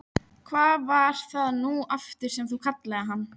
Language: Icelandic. Hvað var það nú aftur sem þú kallaðir hann?